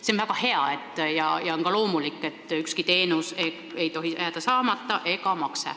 See on väga hea, st loomulik on, et ükski teenus ega makse ei tohi jääda saamata.